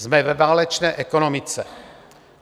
Jsme ve válečné ekonomice.